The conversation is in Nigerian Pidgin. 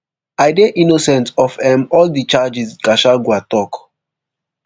i dey innocent of um all these charges gachagua tok